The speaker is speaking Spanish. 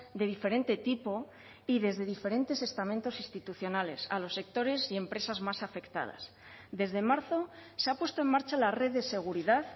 de diferente tipo y desde diferentes estamentos institucionales a los sectores y empresas más afectadas desde marzo se ha puesto en marcha la red de seguridad